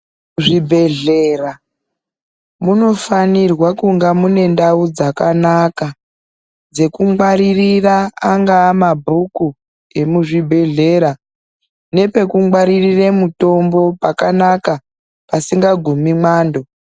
Zvibhehlera munofanirwe kunga mune ndau dzakanaka dzekungwaririra angaa mabhuku emuzvibhehlera nepekungwaririre mutombo pakanaka pasingagumi mwando.